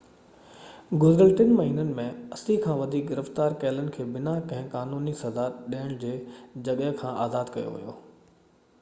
گذريل 3 مهينن ۾ 80 کان وڌيڪ گرفتار ڪيلن کي بنا ڪنهن قانوني سزا ڏيڻ جي جڳهه کان آزاد ڪيو ويو